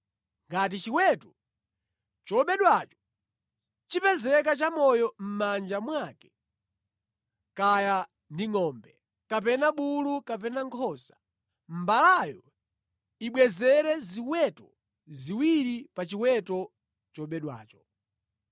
“Ngati chiweto chobedwacho chipezeka chamoyo mʼmanja mwake, kaya ndi ngʼombe kapena bulu kapena nkhosa, mbalayo ibwezere ziweto ziwiri pa chiweto chobedwacho.